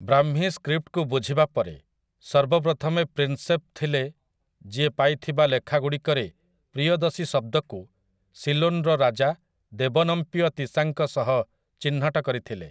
ବ୍ରାହ୍ମୀ ସ୍କ୍ରିପ୍ଟକୁ ବୁଝିବା ପରେ, ସର୍ବପ୍ରଥମେ ପ୍ରିନସେପ୍ ଥିଲେ ଯିଏ ପାଇଥିବା ଲେଖାଗୁଡ଼ିକରେ 'ପ୍ରିୟଦସୀ' ଶବ୍ଦକୁ ସିଲୋନ୍ ର ରାଜା 'ଦେବନମ୍ପିୟ ତିସା' ଙ୍କ ସହ ଚିହ୍ନଟ କରିଥିଲେ ।